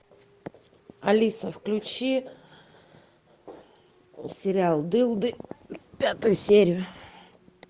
алиса включи сериал дылды пятую серию